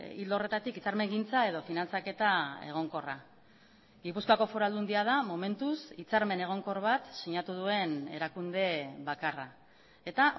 ildo horretatik hitzarmengintza edo finantzaketa egonkorra gipuzkoako foru aldundia da momentuz hitzarmen egonkor bat sinatu duen erakunde bakarra eta